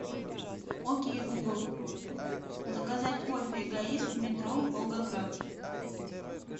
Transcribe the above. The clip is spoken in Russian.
окей гугл заказать кофе эгоист метро волгоград